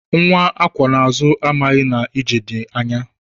Nwa akwọ n'azụ amaghị na ije dị anya.